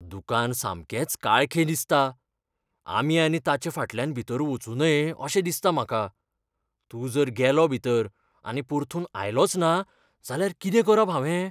दुकान सामकेंच काळखें दिसता. आमी आनी ताचे फाटल्यान भितर वचूं नये अशें दिसता म्हाका. तूं जर गेलो भितर आनी परतून आयलोचना जाल्यार कितें करप हांवें?